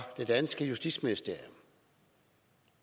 det danske justitsministerium